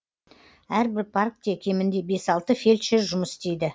әрбір паркте кемінде бес алты фельдшер жұмыс істейді